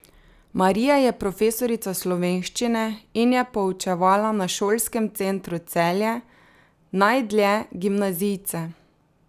Marija je profesorica slovenščine in je poučevala na Šolskem centru Celje, najdlje gimnazijce.